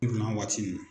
waati min